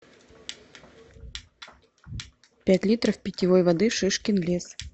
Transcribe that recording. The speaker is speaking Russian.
пять литров питьевой воды шишкин лес